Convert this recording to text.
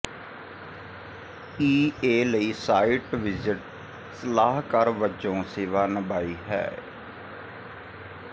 ਈ A ਲਈ site visit ਸਲਾਹਕਾਰ ਵਜੋਂ ਸੇਵਾ ਨਿਭਾਈ ਹੈ